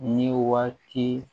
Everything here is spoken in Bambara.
Ni waati